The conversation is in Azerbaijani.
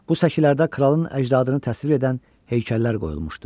Bu səkilərdə kralın əcdadını təsvir edən heykəllər qoyulmuşdu.